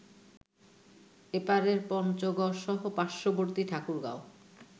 এপারের পঞ্চগড়সহ পার্শ্ববর্তী ঠাকুরগাঁও